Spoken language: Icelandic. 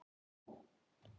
Hrökk hann frá þér?